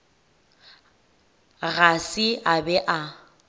ga se a be a